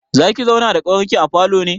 Zaki zauna da ƙawarki a falo ne?